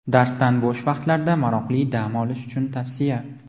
Darsdan bo‘sh vaqtlarda maroqli dam olish uchun tavsiya.